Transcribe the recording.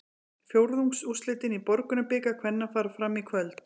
Fjórðungsúrslitin í Borgunarbikar kvenna fara fram í kvöld.